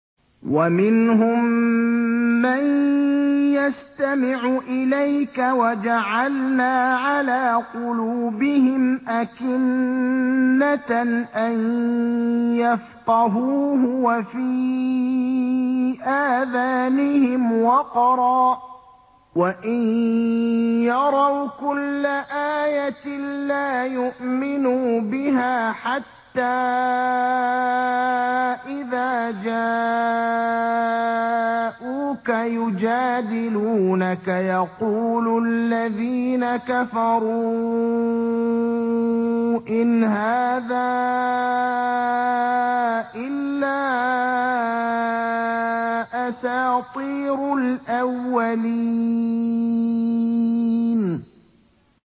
وَمِنْهُم مَّن يَسْتَمِعُ إِلَيْكَ ۖ وَجَعَلْنَا عَلَىٰ قُلُوبِهِمْ أَكِنَّةً أَن يَفْقَهُوهُ وَفِي آذَانِهِمْ وَقْرًا ۚ وَإِن يَرَوْا كُلَّ آيَةٍ لَّا يُؤْمِنُوا بِهَا ۚ حَتَّىٰ إِذَا جَاءُوكَ يُجَادِلُونَكَ يَقُولُ الَّذِينَ كَفَرُوا إِنْ هَٰذَا إِلَّا أَسَاطِيرُ الْأَوَّلِينَ